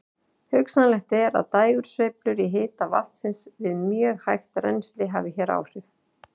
Hugsanlegt er að dægursveiflur í hita vatnsins við mjög hægt rennsli hafi hér áhrif.